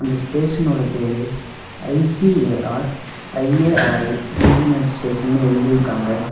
இந்த ஸ்டேஷன் ஓட பேரு ஐ_சி_ஏ_ஆர் ஐ_ஏ_ஆர்_ஐ ரிஜினல் ஸ்டேஷன்னு எழுதியிருக்காங்க.